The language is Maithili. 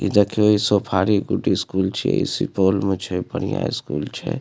इ देखे सफारी स्कूल छै इ सिपौल में छै बढ़िया स्कूल छै।